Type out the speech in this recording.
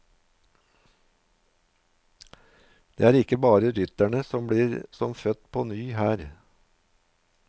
Det er ikke bare rytterne som blir som født på ny her.